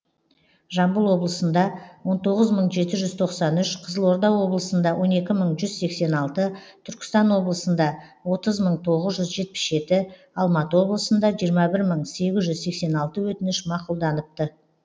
жамбыл облысында он тоғыз мың жеті жүз тоқсан үш қызылорда облысында он екі мың жүз сексен алты түркістан облысында отыз мың тоғыз жүз жетпіс жеті алматы облысында жиырма бір мың сегіз жүз сексен алты өтініш мақұлданыпты